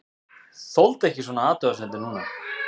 Þoldi ekki svona athugasemdir núna.